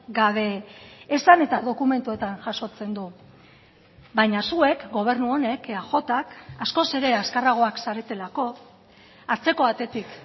gabe esan eta dokumentuetan jasotzen du baina zuek gobernu honek eajk askoz ere azkarragoak zaretelako atzeko atetik